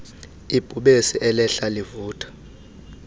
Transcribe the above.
ibhubesi elehla livutha